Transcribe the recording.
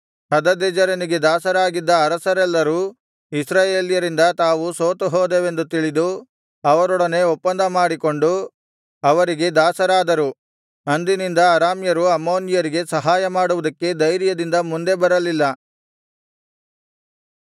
ಹದದೆಜೆರನಿಗೆ ದಾಸರಾಗಿದ್ದ ಅರಸರೆಲ್ಲರೂ ಇಸ್ರಾಯೇಲ್ಯರಿಂದ ತಾವು ಸೋತುಹೋದೆವೆಂದು ತಿಳಿದು ಅವರೊಡನೆ ಒಪ್ಪಂದ ಮಾಡಿಕೊಂಡು ಅವರಿಗೆ ದಾಸರಾದರು ಅಂದಿನಿಂದ ಅರಾಮ್ಯರು ಅಮ್ಮೋನಿಯರಿಗೆ ಸಹಾಯಮಾಡುವುದಕ್ಕೆ ಧೈರ್ಯದಿಂದ ಮುಂದೆ ಬರಲಿಲ್ಲ